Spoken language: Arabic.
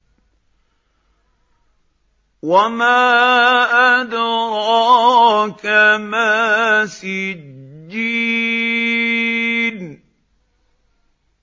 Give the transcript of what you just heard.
وَمَا أَدْرَاكَ مَا سِجِّينٌ